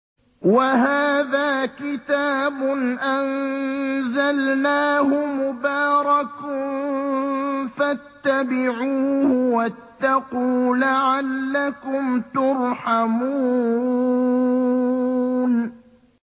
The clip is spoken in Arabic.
وَهَٰذَا كِتَابٌ أَنزَلْنَاهُ مُبَارَكٌ فَاتَّبِعُوهُ وَاتَّقُوا لَعَلَّكُمْ تُرْحَمُونَ